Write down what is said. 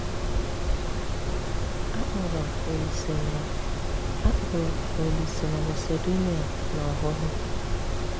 Akpọ̀rọ̀ Olíse na Akpọ̀rọ̀ Olíse na Masedonia n’ọ́hụ́hụ́.